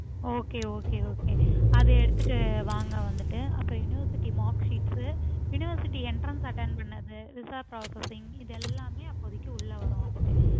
okay okay okay அது எடுத்துட்டு வாங்க வந்துட்டு அப்றம் university mark sheets university entrance attend பண்ணது visa processing இது எல்லாமே அப்போதைக்கு உள்ள வரும் வந்துட்டு